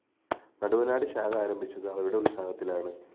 നടുവനാട്‌ ശാഖ ആരംഭിച്ചത്‌ അവരുടെ ഉത്സാഹത്തിലാണ്‌